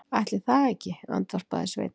Ætli það ekki, andvarpaði Sveinn.